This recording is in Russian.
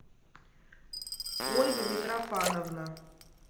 ольга митрофановна